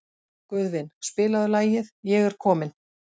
Guðvin, spilaðu lagið „Ég er kominn“.